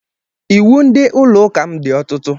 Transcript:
Iwu ndị ụlọ ụka m dị ọtụtụ